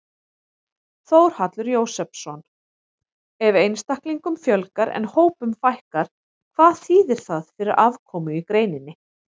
Þórhallur Jósefsson: Ef einstaklingum fjölgar en hópum fækkar, hvað þýðir það fyrir afkomu í greininni?